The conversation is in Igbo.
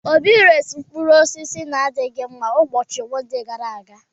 Obi resiri m mkpụrụ osis n'adịghị mma ụbọchị Monde gara aga.